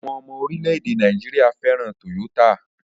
Àwọn ọmọ orílẹ̀-èdè Nàìjíríà fẹ́ràn Toyota